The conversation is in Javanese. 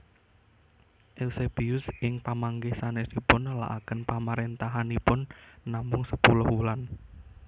Eusebius ing pamanggih sanèsipun nélakaken pamaréntahanipun namung sepuluh wulan